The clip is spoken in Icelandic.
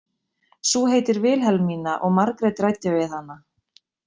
Sú heitir Vilhelmína og Margrét ræddi við hana.